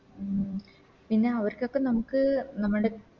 ഉം പിന്നെ അവർക്കൊക്കെ നമുക്ക് നമ്മൾടെ